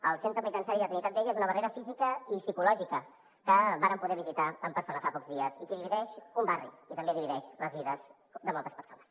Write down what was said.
el centre penitenciari de trinitat vella és una barrera física i psicològica que vàrem poder visitar en persona fa pocs dies i que divideix un barri i també divideix les vides de moltes persones